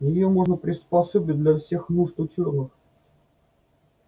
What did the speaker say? её можно приспособить для всех нужд учёных